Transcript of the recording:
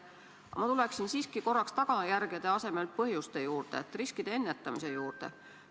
Aga ma tulen siiski korraks tagajärgede asemel põhjuste juurde, riskide ennetamise juurde.